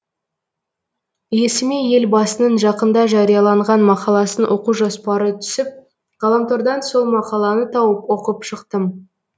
есіме елбасының жақында жарияланған мақаласын оқу жоспары түсіп ғаламтордан сол мақаланы тауып оқып шықтым